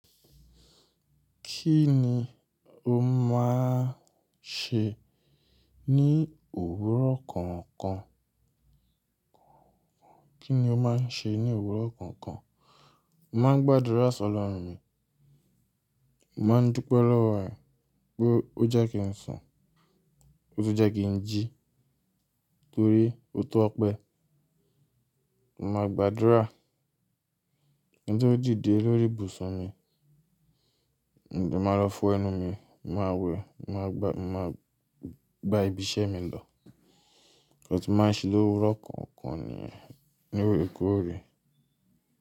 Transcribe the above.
Kí ni o máa ń ṣe ní òwúrọ̀ kọ̀ọ̀kan? Kí ni o máa ń ṣe ní òwúrọ̀ kọ̀ọ̀kan? Ma ń gbàdúrà sọ̀lọ̀run mi, mo maá ń dúpẹ́ lọ́wọ́ ẹ̀ pé ó jẹ́ kí n sùn, ó sì jẹ́ kí n jí torí ó tọ́ opé. Màá gbàdúrà kíń to dide lóri ìbùsùn mi, mo de máa lọ fún ẹnu mi, màá wẹ̀, màá gba, màá gba ibi iṣẹ́ mi lọ. Nnkan tí màá ń ṣe l'òwúrọ̀ kọ̀ọ̀kan ni ní òrekóorè.